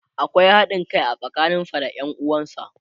akwai haɗin Kai a tsakanin sa da Yan uwansa.